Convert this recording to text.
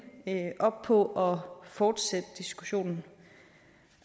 op på fortsætte diskussionen